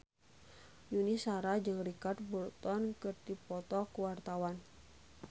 Yuni Shara jeung Richard Burton keur dipoto ku wartawan